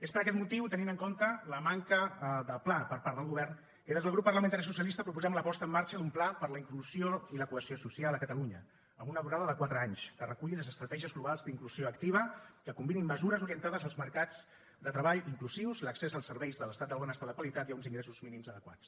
és per aquest motiu tenint en compte la manca de pla per part del govern que des del grup parlamentari socialista proposem la posta en marxa d’un pla per la inclusió i la cohesió social a catalunya amb una durada de quatre anys que reculli les estratègies globals d’inclusió activa que combinin mesures orientades als mercats de treball inclusius l’accés als serveis de l’estat del benestar de qualitat i a uns ingressos mínims adequats